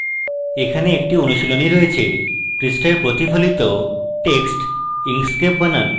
এখানে একটি অনুশীলনী রয়েছে পৃষ্ঠায় প্রতিফলিত text inkscape বানান